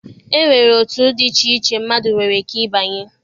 E nwere otu dị iche iche mmadụ nwere ike ịbanye.